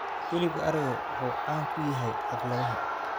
Hilibka arigu waxa uu caan ku yahay xafladaha.